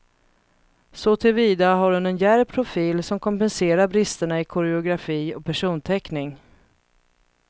Såtillvida har hon en djärv profil som kompenserar bristerna i koreografi och personteckning.